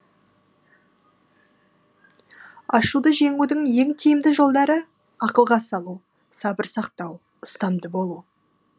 ашуды жеңудің ең тиімді жолдары ақылға салу сабыр сақтау ұстамды болу